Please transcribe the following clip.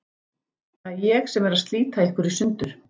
Það er ég sem er að slíta ykkur í sundur.